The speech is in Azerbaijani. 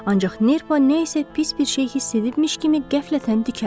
Ancaq nerpa nə isə pis bir şey hiss edibmiş kimi qəflətən dikəldi.